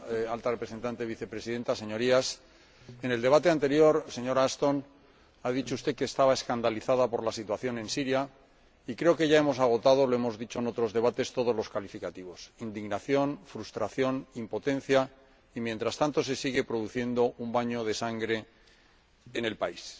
Señora Presidenta, señora Alta Representante y Vicepresidenta de la Comisión, Señorías, en el debate anterior, señora Ashton, ha dicho usted que estaba escandalizada por la situación en Siria y creo que ya hemos agotado lo hemos dicho en otros debates todos los calificativos. Indignación, frustración, impotencia, y mientras tanto, se sigue produciendo un baño de sangre en el país.